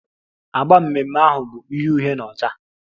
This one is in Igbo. Agba mmemme ahụ bụ uhie uhie na ọcha